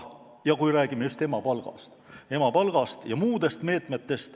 Ma pean silmas emapalka ja muid meetmeid.